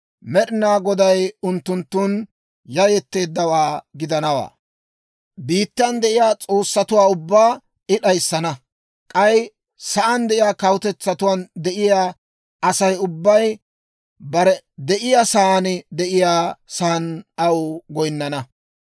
Med'inaa Goday unttunttun yayetteeddawaa gidanawaa; biittan de'iyaa s'oossatuwaa ubbaa I d'ayissana; k'ay sa'aan de'iyaa kawutetsatuwaan de'iyaa Asay ubbay bare de'iyaa saan de'iyaa saan aw goyinnana.